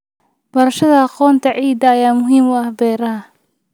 Barashada aqoonta ciidda ayaa muhiim u ah beeraha.